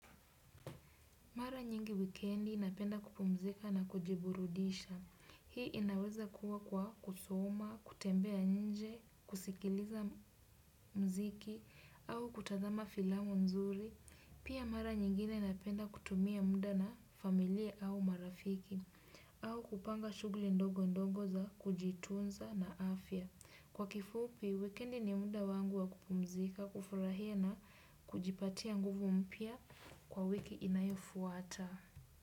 Mara nyingi wikendi napenda kupumzika na kujiburudisha. Hii inaweza kuwa kwa kusoma, kutembea nje, kusikiliza mziki au kutazama filamu nzuri. Pia mara nyingine napenda kutumia muda na familia au marafiki au kupanga shughuli ndogondogo za kujitunza na afya. Kwa kifupi, wikiendi ni muda wangu wa kupumzika, kufurahia na, kujipatia nguvu mpya kwa wiki inayofuata.